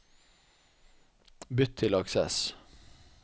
Bytt til Access